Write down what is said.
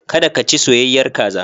Kada ka ci soyayyar kaza.